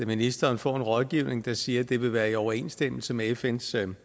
ministeren får en rådgivning der siger at det vil være i overensstemmelse med fns